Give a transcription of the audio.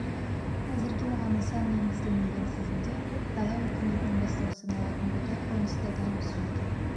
әзірге оған нысан енгізілген тізімде дала өркениетінің бастауы саналатын ботай қонысы да бар дәл осы жерде